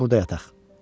Gecəni burda yataq.